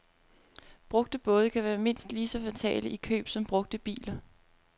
Brugte både kan være mindst lige så fatale i køb som brugte biler.